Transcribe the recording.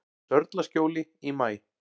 Sörlaskjóli í maí